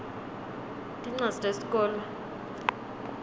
tincwadzi tesikolwa